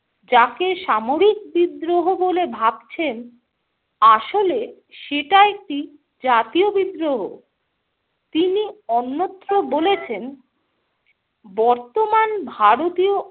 যাকে সামরিক বিদ্রোহ বলে ভাবছেন আসলে সেটা একটি জাতীয় বিদ্রোহ। তিনি অন্যত্র বলেছেন, বর্তমান ভারতীয়